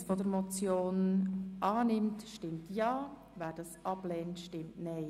Wer die Ziffer 1 dieser Motion annimmt, stimmt Ja, wer dies ablehnt stimmt Nein.